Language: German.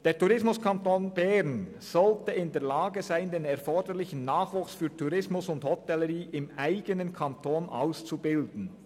Der Tourismuskanton Bern sollte in der Lage sein, den erforderlichen Nachwuchs für Tourismus und Hotellerie selber auszubilden.